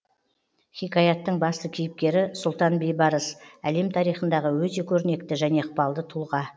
хикаятың басты кейіпкері сұлтан бейбарыс әлем тарихындағы өте көрнекті және ықпалды тұлға